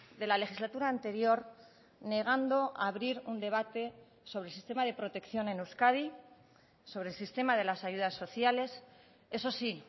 de la legislatura anterior negando abrir un debate sobre el sistema de protección en euskadi sobre el sistema de las ayudas sociales eso sí